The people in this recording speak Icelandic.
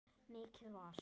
Mikið var!